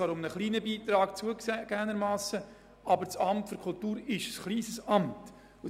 Wir haben bereits gestern darüber gesprochen: